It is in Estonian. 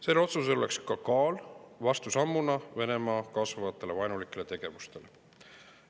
Sellel otsusel oleks ka kaal vastusammuna Venemaa kasvavale vaenulikule tegevusele.